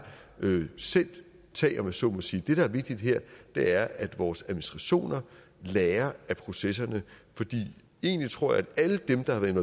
selv tage om jeg så må sige det der er vigtigt her er at vores administrationer lærer af processerne for egentlig tror jeg at alle dem der har været